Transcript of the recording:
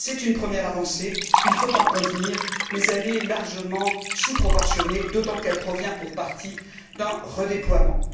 C'est une première avancée, il faut en convenir, mais elle est largement sous proportionnée, d'autant qu'elle provient, pour partie, d'un redéploiement.